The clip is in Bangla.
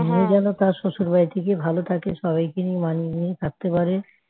সিমি যেন তার শশুর বাড়িতে গিয়ে ভালো থাকে সবাইকে নিয়ে মানিয়ে নিয়ে থাকতে পারে